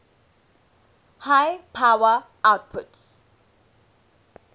high power outputs